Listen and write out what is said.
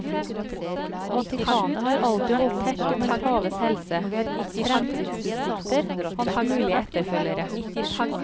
Vatikanet har alltid holdt tett om en paves helse, hans fremtidsutsikter, hans mulige etterfølgere.